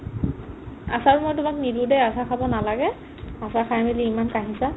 আচাৰ ন তোমাক নিদিও দে আচাৰ খাব নালাগে আচাৰ খাই মেলি ইমান কাঁহিছা